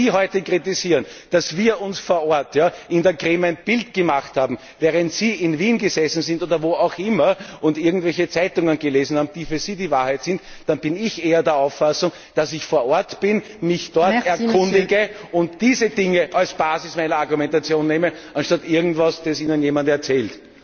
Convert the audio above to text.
Wenn Sie heute kritisieren, dass wir uns vor Ort in der Krim ein Bild gemacht haben, während Sie in Wien gesessen sind oder wo auch immer und irgendwelche Zeitungen gelesen haben, die für Sie die Wahrheit sind, dann bin ich eher der Auffassung, dass ich vor Ort bin, mich dort erkundige und diese Dinge als Basis meiner Argumentation nehme anstatt irgendetwas, das Ihnen irgendjemand erzählt.